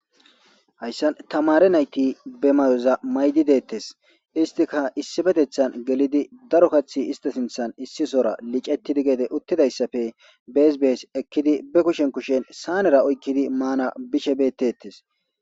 Hayssan tamare nayti be mayoza maydi deettes istika issibetethan gelidi daro kaththi ista sinthan issi sora licetidi geede uttidayssafe beesbees ekkidi be kushen kushen saanera oykkidi maana bishe bettettes.